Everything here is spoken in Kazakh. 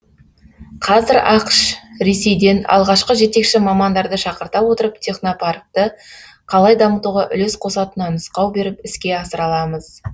қазір ақш ресейден алғашқы жетекші мамандарды шақырта отырып технопаркті қалай дамытуға үлес қосатынына нұсқау беріп іске асыра аламыз